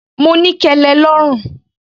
Mo ní kẹlẹ lọ́rùn.